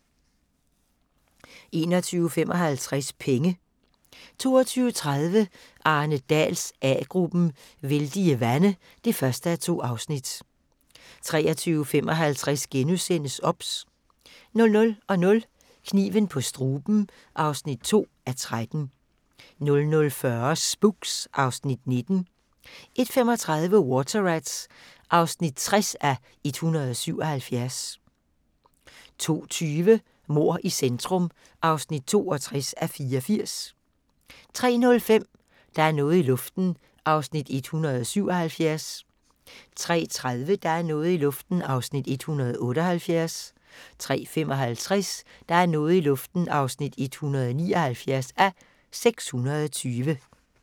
21:55: Penge 22:30: Arne Dahls A-gruppen: Vældige vande (1:2) 23:55: OBS * 00:00: Kniven på struben (2:13) 00:40: Spooks (Afs. 19) 01:35: Water Rats (60:177) 02:20: Mord i centrum (62:84) 03:05: Der er noget i luften (177:320) 03:30: Der er noget i luften (178:320) 03:55: Der er noget i luften (179:320)